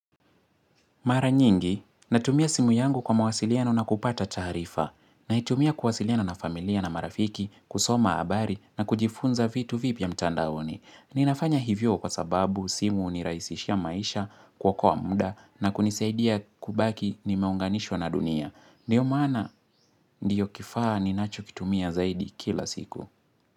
Mara nyingi, natumia simu yangu kwa mawasiliana na kupata taarifa. Naitumia kuwasiliana na familia na marafiki, kusoma habari na kujifunza vitu vipya mtandaoni. Ninafanya hivyo kwa sababu simu hunirahisishia maisha kuokoa muda na kunisaidia kubaki nimeunganishwa na dunia. Ndiyo maana ndiyo kifaa ninachokitumia zaidi kila siku.